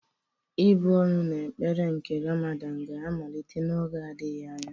Ị́bụ̀ ọnụ na ekpere nke Ramadan ga-amalite n'oge adịghị anya.